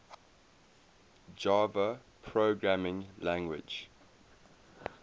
java programming language